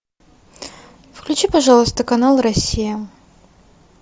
включи пожалуйста канал россия